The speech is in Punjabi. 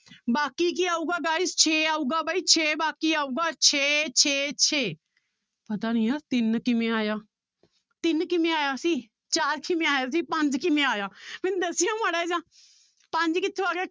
ਬਾਕੀ ਕੀ ਆਊਗਾ guys ਛੇ ਆਊਗਾ ਬਾਈ ਛੇ ਬਾਕੀ ਆਊਗਾ ਛੇ ਛੇ ਛੇ, ਪਤਾ ਨੀ ਆਹ ਤਿੰਨ ਕਿਵੇਂ ਆਇਆ, ਤਿੰਨ ਕਿਵੇਂ ਆਇਆ ਸੀ ਚਾਰ ਕਿਵੇਂ ਆਇਆ ਸੀ ਪੰਜ ਕਿਵੇਂ ਆਇਆ ਮੈਨੂੰ ਦੱਸਿਓ ਮਾੜਾ ਜਿਹਾ ਪੰਜ ਕਿੱਥੋਂ ਆ ਗਿਆ